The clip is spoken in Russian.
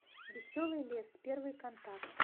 веселый лес первый контакт